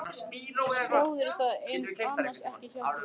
Skráðirðu það annars ekki hjá þér?